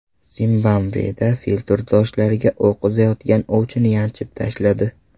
Zimbabveda fil turdoshlariga o‘q uzayotgan ovchini yanchib tashladi.